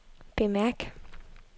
bemærk